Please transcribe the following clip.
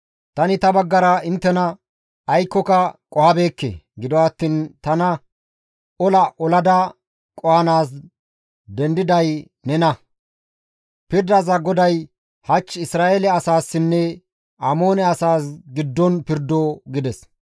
Tani ta baggara inttena aykkoka qohabeekke; gido attiin tana ola olada qohanaas dendiday nena; pirdiza GODAY hach Isra7eele asaassinne Amoone asaas giddon pirdo» gides.